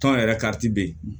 Tɔn yɛrɛ kariti bɛ yen